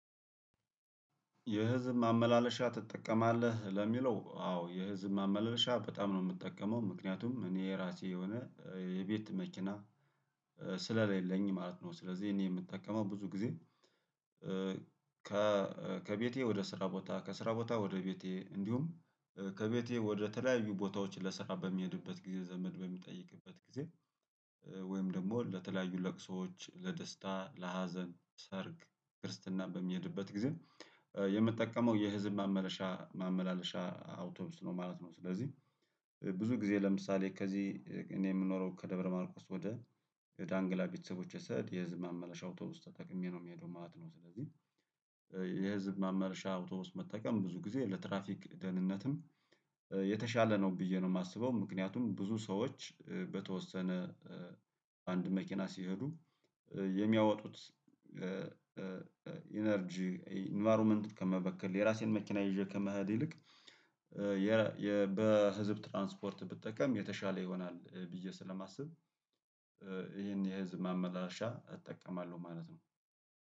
የህዝብ ማመላለሻ ትጠቀማለህ ለሚለው አዎ የህዝብ ማመላለሻ በጣም ነው የምጠቀመው ምክንያቱም እኔ የራሴ የሆነ የቤት መኪና ስለሌለኝ ማለት ነው። ስለዚህ እኔ የምጠቀመው ብዙ ጊዜ። ከቤቴ ወደ ስራ ቦታ ከስራ ቦታ ወደ ቤቴ እንዲሁም ከቤቴ ወደ ተለያዩ ቦታዎች ለስራ በሚሄድበት ጊዜ ዘመድ በሚጠይቅበት ጊዜ ወይም ደግሞ ለተለያዩ ለቅሶዎች ለደስታ ለሀዘን ሰርግ ክርስትና በምሄድበት ጊዜ የምጠቀመው የህዝብ ማመላለሻ ማመላለሻ አውቶብስ ነው ማለት ነው። ስለዚህ ብዙ ጊዜ ለምሳሌ ከዚህ እኔ የምኖረው ከደብረ ማርቆስ ወደ የዳንግላ ቤተሰቦች የሰዕድ የህዝብ ማመላሻው ተውተው ተጠቅሜ ነው የሚሄደው ማለት ነው። ስለዚህ የህዝብ ማመለሻ አውቶቡስ መጠቀም ብዙ ጊዜ ለትራፊክ ደህንነትም የተሻለ ነው ብዬ ነው የማስበው። ምክንያቱም ብዙ ሰዎች በተወሰነ አንድ መኪና ሲሄዱ የሚያወጡት ኢነርጂ ኢንቫይሮመንት ከመበከል የራሴን መኪና ይዤ ከምሄድ ይልቅ በህዝብ ትራንስፖርት ብጠቀም የተሻለ ይሆናል ብዬ ስለማስብ። ይሄን የህዝብ ማመላለሻ እጠቀማለሁ ማለት ነው